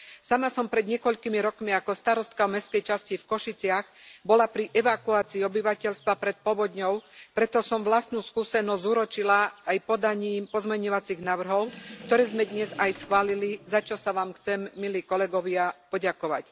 Sama som pred niekoľkými rokmi ako starostka mestskej časti v Košiciach bola pri evakuácii obyvateľstva pred povodňou, preto som vlastnú skúsenosť zúročila aj podaním pozmeňovacích návrhov, ktoré sme dnes aj schválili, za čo sa vám chcem, milí kolegovia, poďakovať.